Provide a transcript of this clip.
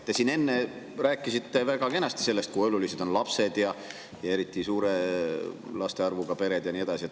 Te siin enne rääkisite väga kenasti, kui olulised on lapsed ja eriti suure laste arvuga pered ja nii edasi.